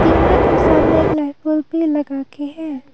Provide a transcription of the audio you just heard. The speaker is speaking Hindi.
टीना के सामने एक लाइट बल्ब भी लगा के है।